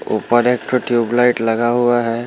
ऊपर एक ठो -टयूब लाईट लगा हुआ है।